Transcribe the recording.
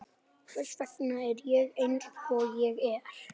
Hvers vegna er ég eins og ég er?